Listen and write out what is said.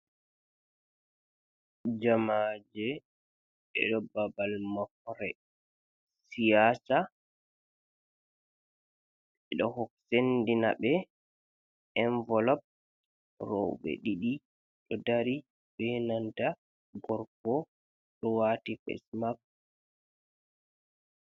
Jamaje ɓdo babal mobre siyasa, ɓeɗo wok sendina ɓe envilop rowɓe didi do dari ɓenanta gorgo ɗo wati fes map.